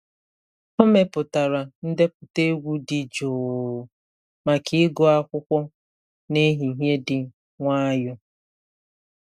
Ọ mepụtara ndepụta egwu dị jụụ maka ịgụ akwụkwọ na ehihie dị nwayọọ.